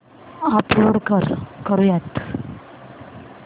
upload करुयात